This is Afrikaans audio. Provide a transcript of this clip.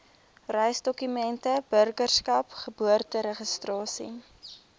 reisdokumente burgerskap geboorteregistrasie